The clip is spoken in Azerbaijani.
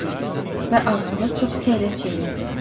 Və ağzında çox səylə çeynədi.